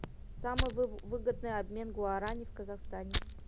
самый выгодный обмен гуарани в казахстане